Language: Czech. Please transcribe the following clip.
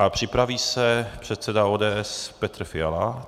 A připraví se předseda ODS Petr Fiala.